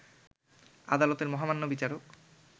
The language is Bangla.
আদালতের মহামান্য বিচারক